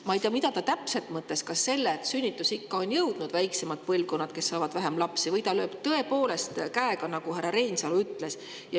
Ma ei tea, mida ta täpselt sellega mõtles – kas seda, et sünnitusikka on jõudnud väiksemad põlvkonnad, kes saavad vähem lapsi, või ta lööb tõepoolest käega, nagu härra Reinsalu ütles.